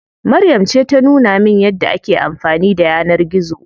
Maryam ce ta nuna min yadda ake amfani da yanar gizo.